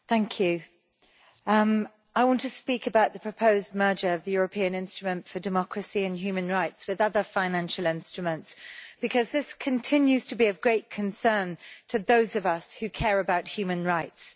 Madam President, I want to speak about the proposed merger of the European Instrument for Democracy and Human Rights with other financial instruments, because this continues to be of great concern to those of us who care about human rights.